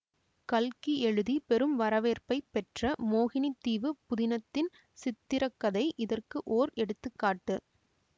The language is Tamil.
கல்கி எழுதி பெரும் வரவேற்ப்பைப் பெற்ற மோகினித் தீவு புதினத்தின் சித்திரக்கதை இதற்கு ஓர் எடுத்து காட்டு